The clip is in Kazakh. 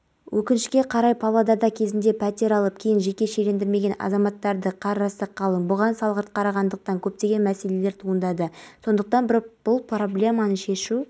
қызметкерлерінің еңбекақысы шілдеден бастап өседі мемлекет басшысы қазақстан полициясында жанкештілік пен ерлік үлгілерін көрсеткендер аз емес